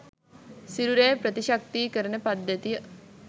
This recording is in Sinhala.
සිරුරේ ප්‍රතිශක්තීකරණ පද්ධතිය